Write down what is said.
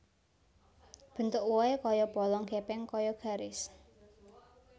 Bentuk wohé kaya polong gèpèng kaya garis